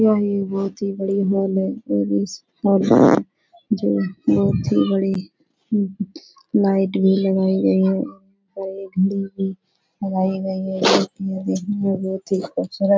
यही बहोत ही बड़ी हॉल है जोकि बहोत ही बड़ी लाइट भी लगाई गई हैं और लगाई गयी है। बहोत ही खूबसुरत --